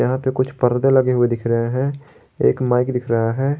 यहां पे कुछ पर्दे लगे हुए दिख रहे हैं एक माइक दिख रहा है।